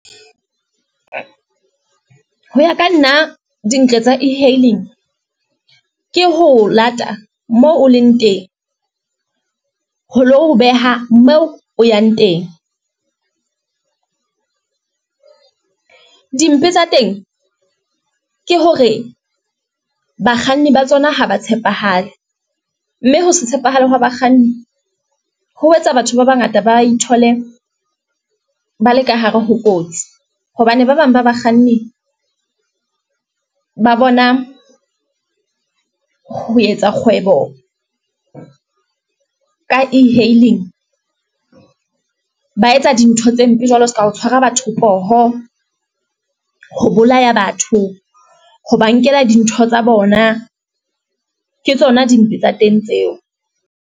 Ho ya ka nna, dintle tsa e-hailing, ke ho lata moo o leng teng, ho lo beha moo o yang teng, dimpe tsa teng ke hore bakganni ba tsona ha ba tshepahale, mme ho se tshepahale hwa bakganni, ho etsa batho ba bangata ba ithole ba le ka hare ho kotsi, hobane ba bang ba bakganni ba bona ho etsa kgwebo ka e hailing, ba etsa dintho tse mpe jwalo seka o tshwara batho poho, ho bolaya batho, ho ba nkela dintho tsa bona. Ke tsona dimpe tsa teng tseo.